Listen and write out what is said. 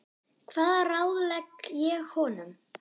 Hvað ráðlegg ég honum?